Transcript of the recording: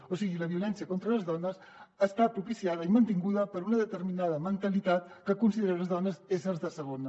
o sigui la violència contra les dones està propiciada i mantinguda per una determinada mentalitat que considera les dones éssers de segona